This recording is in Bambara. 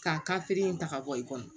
K'a ka feere in ta ka bɔ i kɔnɔ